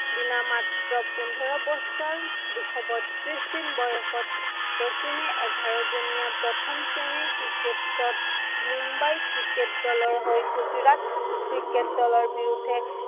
দিনা মাত্ৰ পোন্ধৰ বছৰ দুশ বত্ৰিশ দিন বয়সত, শচীনে এঘাৰজনীয়া প্ৰথম শ্ৰেণীৰ ক্ৰিকেটত মুম্বাই ক্ৰিকেট দলৰ হৈ গুজৰাট ক্ৰিকেট দলৰ বিৰুদ্ধে